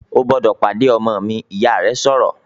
"O gbọ́dọ̀ pàdé ọmọ mi!", Ìyá rẹ̀ sọ̀rọ̀